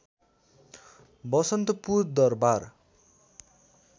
Vasantpur Darbar